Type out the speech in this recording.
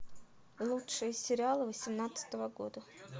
лучшие сериалы восемнадцатого года